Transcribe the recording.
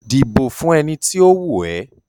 Dìbò fún ẹni tí ó wù ẹ́!